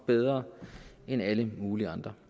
bedre end alle mulige andre